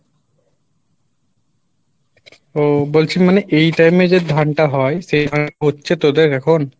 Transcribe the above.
ও বলছি মানে এই time এ যে ধানটা হয় সেই ধান হচ্ছে তোদের এখন?